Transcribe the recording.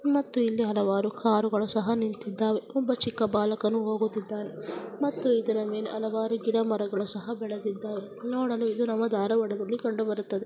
ಮತ್ತು ಹಲವಾರು ಕಾರುಗಳು ಸಹ ನಿಂತಿದ್ದಾವೆ ಒಬ್ಬ ಚಿಕ್ಕ ಬಾಲಕನು ಹೋಗುತ್ತಿದ್ದಾನೆ ಮತ್ತು ಇದರ ಮೇಲೆ ಹಲವರು ಗಿಡಮರಗಳು ಸಹ ಬೆಳೆದಿದ್ದಾವೆ ನೋಡಲು ನಮ್ಮ ಧಾರವಾಡದಲ್ಲಿ ಕಂಡು ಬರುತ್ತದೆ.